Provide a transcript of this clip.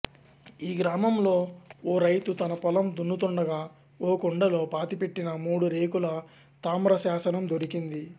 ఈ గ్రామంలో ఓ రైతు తన పొలం దున్నుతుండగా ఓ కుండలో పాతిపెట్టిన మూడు రేకుల తామ్ర శాసనం దొరికింది